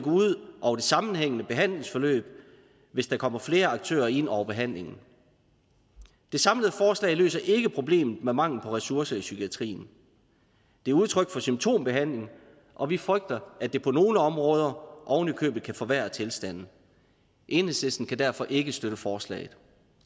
sammenhængende behandlingsforløb hvis der kommer flere aktører ind over behandlingen det samlede forslag løser ikke problemet med mangel på ressourcer i psykiatrien det er udtryk for symptombehandling og vi frygter at det på nogle områder ovenikøbet kan forværre tilstanden enhedslisten kan derfor ikke støtte forslaget